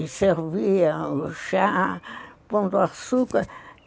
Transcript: E servia o chá pondo açúcar.